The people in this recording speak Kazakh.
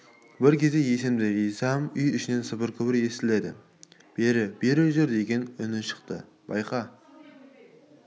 бір кезде есімді жисам үй ішінен сыбыр-күбір естіледі бері бері жүр деген үні шықты байқа